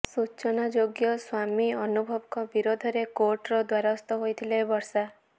ସୂଚନାଯୋଗ୍ୟ ସ୍ୱାମୀ ଅନୁଭବଙ୍କ ବିରୋଧରେ କୋର୍ଟର ଦ୍ୱାରସ୍ଥ ହୋଇଥିଲେ ବର୍ଷା